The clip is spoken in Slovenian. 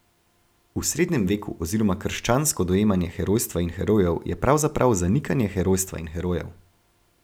V srednjem veku oziroma krščansko dojemanje herojstva in herojev je pravzaprav zanikanje herojstva in herojev.